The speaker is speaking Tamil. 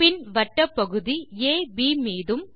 பின் வட்டப்பகுதி அப் மீதும்